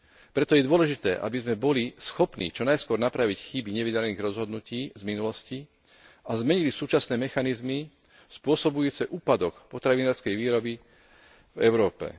Preto je dôležité, aby sme boli schopní čo najskôr napraviť chyby nevydarených rozhodnutí z minulosti, a zmenili súčasné mechanizmy spôsobujúce úpadok potravinárskej výroby v Európe.